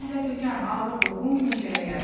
Zəhlətökən ağır qoxu meşəyə yayılırdı.